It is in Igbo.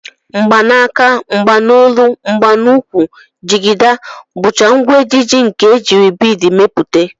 Mgbanaka, mgbanolu, mgbanukwu, jigida, bụcha ngwa ejiji nke e jiri biid mepụta